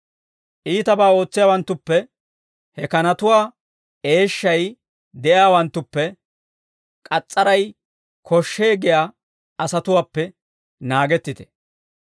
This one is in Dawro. Iitabaa ootsiyaawanttuppe, he kanatuwaa eeshshay de'iyaawanttuppe, k'as's'aray koshshee giyaa asatuwaappe naagettite.